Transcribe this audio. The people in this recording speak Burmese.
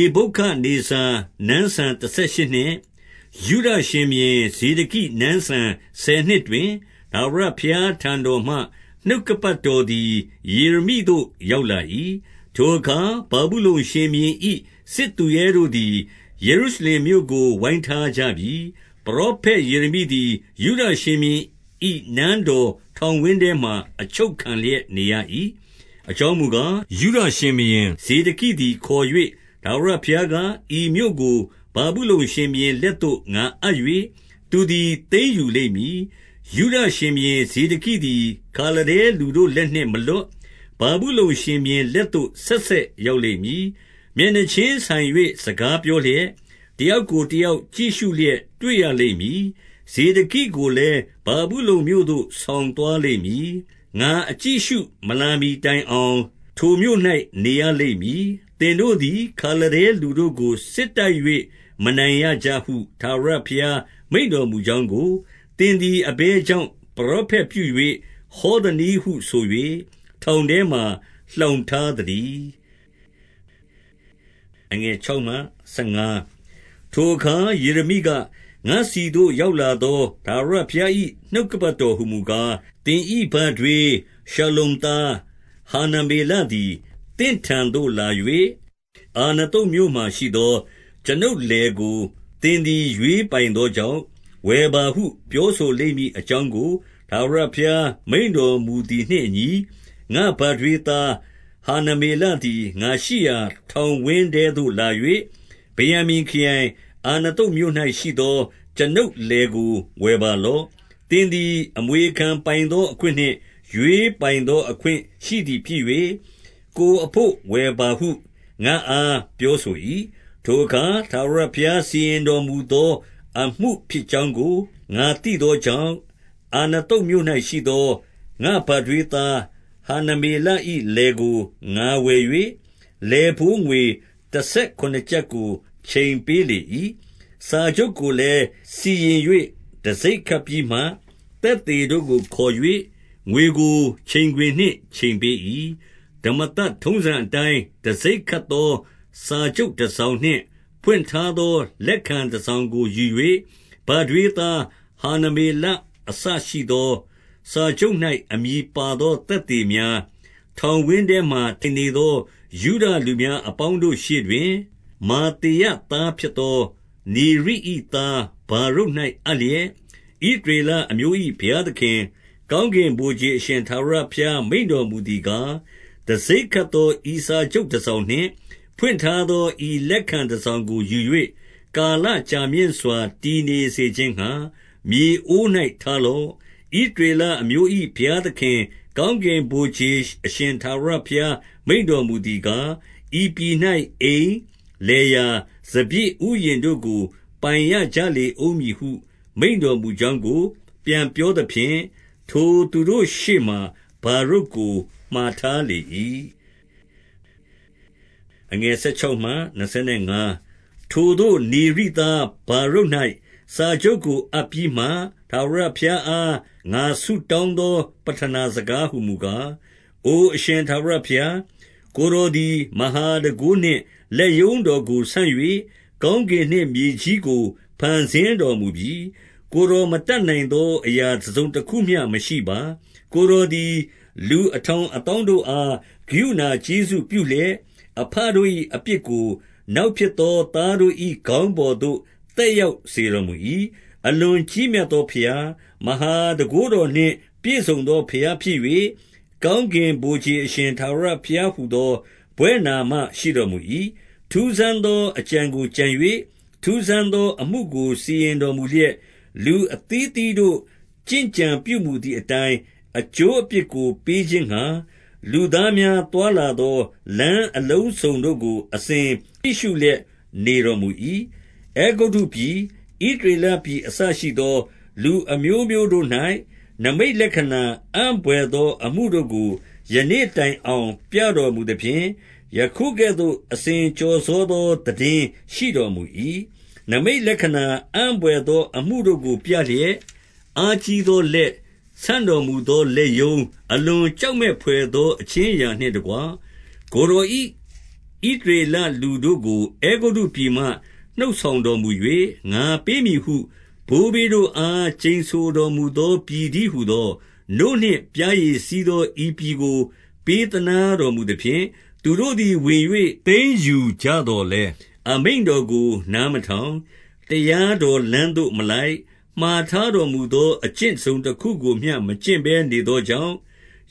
ေဗုခဒ်နေဇာ နန်းစံတဆယ်ရှစ်နှစ်၊ ယုဒ ရှင်ဘုရင် ဇေဒကိ နန်းစံဆယ်နှစ်တွင်၊ ထာဝရဘုရား ထံတော်မှ နှုတ်ကပတ်တော်သည် ယေရမိသို့ ရောက် လာ၏။ 2 ထိုအခါ ဗာဗုလုန် ရှင်ဘုရင်၏ စစ်သူရဲတို့သည် ယေရုရှလင်မြို့ကို ဝိုင်းထားကြပြီ။ ပရောဖက်ယေရမိ သည် ယုဒရှင်ဘုရင်၏ နန်းတော်ထောင်ဝင်းထဲမှာ အချုပ်ခံလျက်နေရ၏။ 3 အကြောင်းမူကား၊ ယုဒရှင်ဘုရင် ဇေဒကိသည် ခေါ်၍၊ ထာဝရဘုရားက၊ ဤမြို့ကို ဗာဗုလုန်ရှင်ဘုရင် လက်သို့ ငါအပ်၍၊ သူသည် သိမ်းယူလိမ့်မည်။ 4 ယုဒရှင်ဘုရင် ဇေဒကိသည် ခါလဒဲလူတို့ လက်နှင့်မလွတ်၊ ဗာဗုလုန် ရှင်ဘုရင်လက်သို့ ဆက်ဆက် ရောက်လိမ့်မည်။ မျက်နှာချင်းဆိုင်၍ စကားပြောလျက်၊ တယောက်ကို တယောက်ကြည့်ရှုလျက် တွေ့ရလိမ့်မည်။ 5 ဇေဒကိကိုလည်း ဗာဗုလုန်မြို့သို့ ဆောင်သွား လိမ့်မည်။ငါအကြည့်အရှုမလာမှီတိုင်အောင်၊ ထိုမြို့၌ နေရလိမ့်မည်။ သင်တို့သည် ခါလဒဲလူတို့ကို စစ်တိုက်၍ မနိုင်ရကြဟု ထာဝရဘုရား မိန့်တော်မူကြောင်းကို၊ သင် သည် အဘယ်ကြောင့် ပရောဖက်ပြု၍ ဟောသနည်းဟု ဆို၍ ထောင်ထဲမှာ လှောင်ထားသတည်း။ 6 ထိုအခါယေရမိက၊ ငါ့ဆီသို့ရောက်လာသော ထာဝရဘုရား၏ နှုတ်ကပတ်တော်ဟူမူကား၊ 7 သင်၏ဘထွေး ရှလ္လုံသား ဟာနမေလသည် သင့်ထံသို့လာ၍၊ အာနသုတ်မြို့မှာရှိသော ကျွန်ုပ်လယ်ကို သင်သည် ရွေးပိုင်သောကြောင့်၊ ဝယ်ပါဟု ပြောဆို လိမ့်မည်အကြောင်းကို ထာဝရဘုရား မိန့်တော်မူသည်နှင့် အညီ၊ 8 ငါ့ဘထွေး သားဟာနမေလသည် ငါရှိရာ ထောင်ဝင်းထဲသို့ လာ၍၊ ဗင်္ယာမိန်ခရိုင်၊ အာနသုတ်မြို့၌ ရှိသော ကျွန်ုပ်လယ်ကို ဝယ်ပါလော့။ သင်သည် အမွေခံပိုင်သော အခွင့်နှင့် ရွေးပိုင်သော အခွင့်ရှိသည် ဖြစ်၍၊ ကိုယ်အဘို့ ဝယ်ပါဟု ငါ့အားပြောဆို၏။ ထိုအခါ ထာဝရဘုရား စီရင်တော်မူသော အမှုဖြစ်ကြောင်းကို ငါသိသောကြောင့်၊ 9 အာနသုတ်မြို့၌ရှိသော ငါ့ဘထွေးသား ဟာနမေလ၏လယ်ကို ငါဝယ်၍ လယ်ဘိုးငွေ တဆယ် ခုနစ်ကျပ်ကို ချိန်ပေးလေ၏။ 10 စာချုပ်ကိုလည်း စီရင်၍ တံဆိပ်ခတ်ပြီးမှ၊ သက်သေတို့ကိုခေါ်၍ ငွေကို ချိန်ခွင်နှင့်ချိန်ပေး၏။ 11 ဓမ္မသတ်ထုံးစံအတိုင်း တံဆိပ်ခတ်သော စာချုပ် တစောင်နှင့် ဖွင့်ထားသောလက်ခံတစောင်ကို ယူ၍၊ 12 ဘထွေးသား ဟာနမေလ အစရှိသော၊ စာချုပ်၌ အမည်ပါသော သက်သေများ၊ ထောင်ဝင်းထဲမှာ ထိုင်နေ သော ယုဒလူများအပေါင်းတို့ရှေ့တွင်၊ မာသေယသား ဖြစ်သော နေရိ၏သားဗာရုတ်၌ အပ်လျက်၊ 13 ဣသရေလအမျိုး၏ ဘုရားသခင်၊ ကောင်းကင် ဗိုလ်ခြေအရှင် ထာဝရဘုရား မိန့်တော်မူသည်ကား၊ 14 တံဆိပ်ခတ်သော ဤစာချုပ်တစောင်နှင့် ဖွင့်ထားသော ဤလက်ခံတစောင်ကို ယူ၍၊ ကာလ ကြာမြင့်စွာ တည်နေစေခြင်းငှါ မြေအိုး၌ထားလော့။ 15 ဣသရေလအမျိုး၏ ဘုရားသခင်၊ ကောင်းကင် ဗိုလ်ခြေအရှင် ထာဝရဘုရားမိန့်တော်မူသည်ကား၊ ဤပြည်၌အိမ်၊ လယ်ယာ၊ စပျစ်ဥယျာဉ်တို့ကို ပိုင်ရကြ လေဦးမည်ဟု မိန့်တော်မူကြောင်းကို ပြန်ပြောသဖြင့်၊ ထိုသူတို့ရှေ့မှာ ဗာရုတ်ကိုမှာထားလေ၏။ 16 ထိုသို့နေရိသား ဗာရုတ်၌ စာချုပ်ကို အပ်ပြီးမှ၊ ထာဝရဘုရားအား ငါဆုတောင်းသော ပဌနာစကား ဟူမူကား၊ 17 အိုအရှင်ထာဝရဘုရား၊ ကိုယ်တော်သည် မဟာ တန်ခိုးနှင့် လက်ရုံးတော်ကိုဆန့်၍၊ ကောင်းကင်နှင့် မြေကြီးကို ဖန်ဆင်းတော်မူပြီ။ ကိုယ်တော်မတတ်နိုင် သော အရာတစုံတစခုမျှ မရှိပါ။ 18 ကိုယ်တော်သည် လူအထောင်အသောင်းတို့အား ကရုဏာကျေးဇူးပြုလျက်၊ အဘတို့၏အပြစ်ကို နောက် ဖြစ်သောသားတို့၏ ခေါင်းပေါ်သို့ သက်ရောက်စေတော် မူ၏။ အလွန်ကြီးမြတ်သောဘုရား၊ မဟာတန်ခိုးတော်နှင့် ပြည့်စုံသော ဘုရားဖြစ်၍၊ ကောင်းကင်ဗိုလ်ခြေအရှင် ထာဝရဘုရားဟူသော ဘွဲ့နာမရှိတော်မူ၏။ 19 ထူးဆန်းသော အကြံကိုကြံ၍၊ ထူးဆန်းသော အမှုကို စီရင်တော်မူလျက်၊ လူအသီးအသီးတို့ ကျင့်ကြံ ပြုမူသည် အတိုင်းအကျိုးအပြစ်ကို ပေးခြင်းငှါ၊ လူသား များ သွားလာသော လမ်းအလုံးစုံတို့ကို အစဉ်ကြည့်ရှု လျက်နေတော်မူ၏။ 20 အဲဂုတ္တုပြည်၊ ဣသရေလပြည်အစရှိသော လူအမျိုးမျိုးတို့၌ နိမိတ်လက္ခဏာအံ့ဘွယ်သော အမှုတို့ကို ယနေ့တိုင်အောင် ပြတော်မူသဖြင့်၊ ယခုကဲ့သို့ အစဉ် ကျော်စောသော သိတင်းရှိတော်မူ၏။ 21 နိမိတ်လက္ခဏာ အံ့ဘွယ်သောအမှုတို့ကို ပြလျက်၊ အားကြီးသော လက်၊ ဆန့်တော်မူသော လက်ရုံး၊ အလွန်ကြောက်မက်ဘွယ်သော အခြင်းအရာနှင့်တကွ၊ ကိုယ်တော်၏ ဣသရေလလူတို့ကို အဲဂုတ္တုပြည်မှ နှုတ်ဆောင်တော်မူ၍၊ 22 ငါပေးမည်ဟု ဘိုးဘေးတို့အား ကျိန်ဆိုတော်မူ သောပြည်တည်းဟူသော၊ နို့နှင့်ပျားရည်စီးသော ဤပြည် ကို ပေးသနားတော်မူသဖြင့်၊ 23 သူတို့သည် ဝင်၍သိမ်းယူကြသော်လည်း၊ အမိန့် တော်ကို နားမထောင်၊ တရားတော်လမ်းသို့မလိုက်၊ မှာထားတော်မူသော အကျင့်တစုံတခုကိုမျှ မကျင့်ဘဲ နေသောကြောင့်